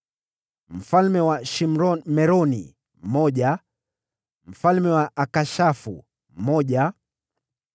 mfalme wa Shimron-Meroni mmoja mfalme wa Akishafu mmoja